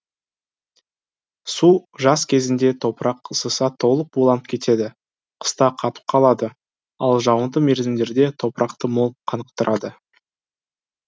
су жаз кезінде топырақ ысыса толық буланып кетеді қыста қатып қалады ал жауынды мерзімдерде топырақты мол қанықтырады